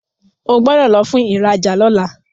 O gbódò lò fún ìrajà lọla!